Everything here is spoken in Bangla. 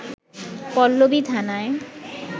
পল্লবী থানায়